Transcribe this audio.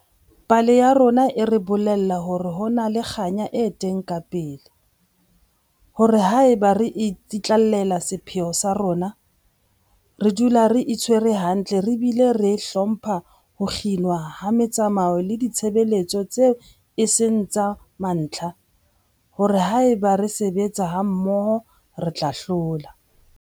Pale ya bona e re bolella hore ho na le kganya e teng kapele, hore haeba re tsitlallela sepheo sa rona, re dula re itshwere hantle re bile re hlompha ho kginwa ha metsamao le ditshebeletso tseo e seng tsa mantlha, hore haeba re sebetsa mmoho, re tla hlola.